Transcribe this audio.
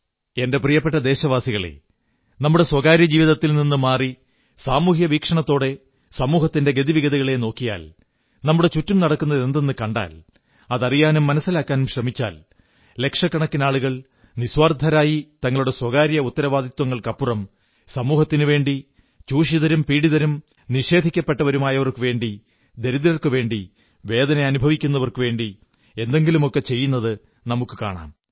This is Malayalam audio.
എന്റെ പ്രിയപ്പെട്ട ദേശവാസികളേ നമ്മുടെ സ്വകാര്യജീവിതത്തിൽ നിന്നു മാറി സാമൂഹ്യ വീക്ഷണത്തോടെ സമൂഹത്തിന്റെ ഗതിവിഗതികളെ നോക്കിയാൽ നമ്മുടെ ചുറ്റും നടക്കുന്നതെന്തെന്നു കണ്ടാൽ അതറിയാനും മനസ്സിലാക്കാനും ശ്രമിച്ചാൽ ലക്ഷക്കണക്കിനാളുകൾ നിസ്വാർഥരായി തങ്ങളുടെ സ്വകാര്യ ഉത്തരവാദിത്വങ്ങൾക്കപ്പുറം സമൂഹത്തിനുവേണ്ടി ചൂഷിതരും പീഡിതരും നിഷേധിക്കപ്പെട്ടവരുമായവർക്കുവേണ്ടി ദരിദ്രർക്കു വേണ്ടി വേദനിക്കുന്നവർക്കു വേണ്ടി എന്തെങ്കിലുമൊക്കെ ചെയ്യുന്നത് നമുക്കു കാണാം